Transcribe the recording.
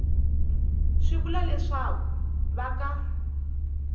swi vula leswaku va ka